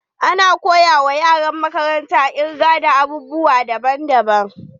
Ana koya wa yaran makaranta kirga da ababe daban daban.